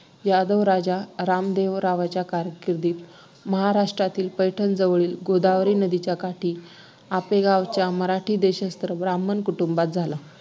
यादव राजा रामदेवरावांच्या कारकिर्दीत महाराष्ट्रातील पैठणजवळ गोदावरी नदीच्या काठी आपेगावच्या मराठी देशस्थ ब्राम्हण कुटुंबात झाला